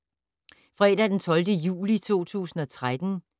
Fredag d. 12. juli 2013